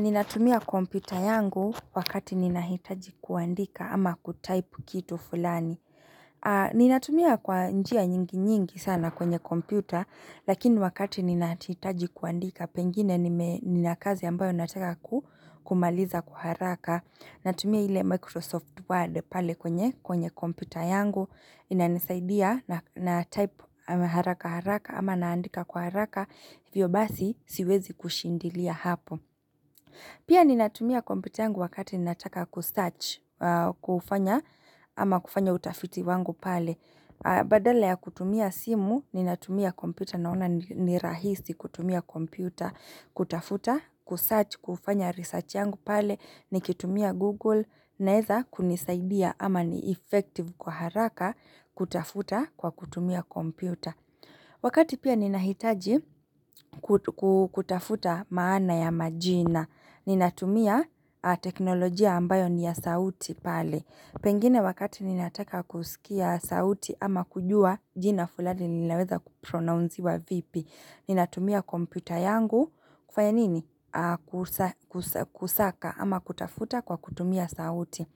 Ninatumia kompyuta yangu wakati ninahitaji kuandika ama kutaipu kitu fulani Ninatumia kwa njia nyingi nyingi sana kwenye kompyuta Lakini wakati ninatitaji kuandika pengine ninakazi ambayo nataka kumaliza kwa haraka Natumia ile Microsoft Word pale kwenye kwenye kompyuta yangu inanisaidia na type haraka haraka ama naandika kwa haraka hiVyo basi siwezi kushindilia hapo Pia ninatumia kompyuta yangu wakati ninataka kusearch, kufanya, ama kufanya utafiti wangu pale. Badala ya kutumia simu, ninatumia kompyuta, naona ni rahisi kutumia kompyuta, kutafuta, kusearch, kufanya research yangu pale, nikitumia Google, na eza kunisaidia ama ni effective kwa haraka kutafuta kwa kutumia kompyuta. Wakati pia ninahitaji kutafuta maana ya majina. Ninatumia teknolojia ambayo niya sauti pale. Pengine wakati ninataka kusikia sauti ama kujua jina fulani ninaweza kupronounziwa vipi. Ninatumia kompyuta yangu kufanya nini? Kusaka ama kutafuta kwa kutumia sauti.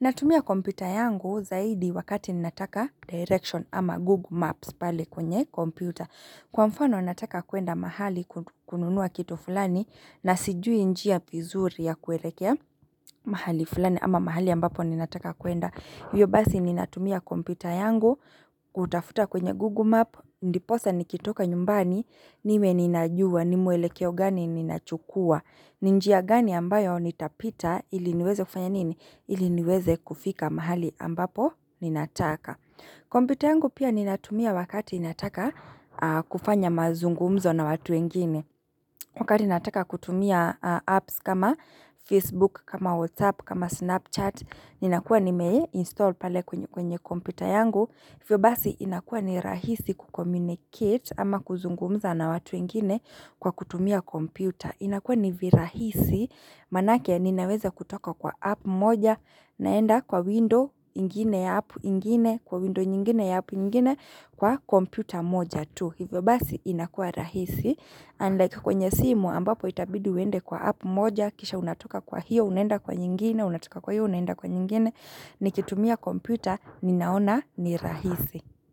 Natumia kompyuta yangu zaidi wakati ninataka Direction ama Google Maps pale kwenye kompyuta Kwa mfano nataka kuenda mahali kununua kitu fulani na sijui njia vizuri ya kuelekea mahali fulani ama mahali ambapo ninataka kuenda Iyo basi ninatumia kompyuta yangu kutafuta kwenye Google Map, ndiposa nikitoka nyumbani, nime ninajua nimwelekeo gani ninachukua ninjia gani ambayo nitapita ili niweze kufanya nini? Ili niweze kufika mahali ambapo ninataka. Kompyuta yangu pia ninatumia wakati nataka kufanya mazungumzo na watu wengine. Wakati nataka kutumia apps kama Facebook, kama WhatsApp, kama Snapchat. Ninakuwa nime install pale kwenye kompyuta yangu. hiVyo basi inakuuwa ni rahisi kukomunicate ama kuzungumza na watu wengine kwa kutumia kompyuta. Inakuwa nivirahisi manake ya ninaweza kutoka kwa app moja naenda kwa window ingine ya app ingine kwa window nyingine ya app ingine kwa computer moja tu. Hivyo basi inakua rahisi and like kwenye simu ambapo itabidi wende kwa app moja kisha unatoka kwa hiyo unaenda kwa nyingine unatoka kwa hiyo unaenda kwa nyingine nikitumia computer ninaona ni rahisi.